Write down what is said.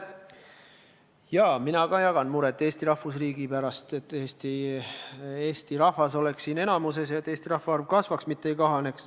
Jaa, ka mina jagan muret Eesti rahvusriigi pärast – et eesti rahvas oleks siin valdav ja et meie rahvaarv kasvaks, mitte ei kahaneks.